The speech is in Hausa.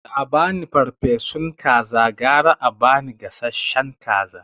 Da abani farfesun kaza gara a ba ni gasashshen kaza